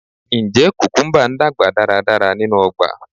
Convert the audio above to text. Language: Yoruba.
Njẹ kukumba n dagba daradara ninu ọgba?